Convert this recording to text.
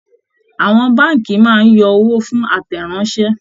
Àwọn Báànkì máa ń yọ owó fún àtẹ̀ráńṣẹ